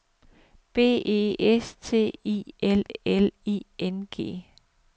B E S T I L L I N G